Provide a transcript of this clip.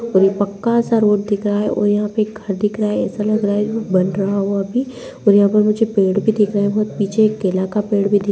और ये पक्का सा रोड दिख रहा है और यहाँ पे घर दिख रहा है ऐसा लग रहा है बन रहा हो अभी और यहाँ पर मुझे पेड़ भी दिख रहें हैं बहुत पीछे एक केला का पेड़ भी दिख --